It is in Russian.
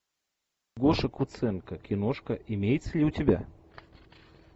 гоша куценко киношка имеется ли у тебя